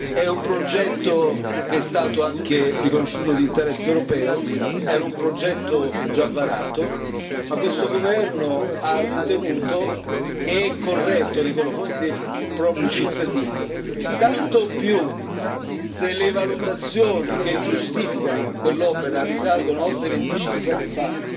è vero, è un progetto che era stato riconosciuto anche di interesse europeo ed era già varato ma questo Governo ha ritenuto che è corretto nei confronti dei propri cittadini tanto più se lei valutazioni che giustificano quell'opera risalgono a oltre 25 anni